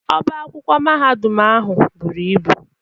Ọbá akwụkwọ Mahadum ahụ buru ibu